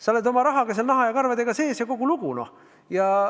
Sa oled oma rahaga seal naha ja karvadega sees ja kogu lugu.